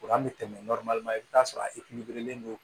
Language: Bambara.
An bɛ tɛmɛ i bi t'a sɔrɔ e don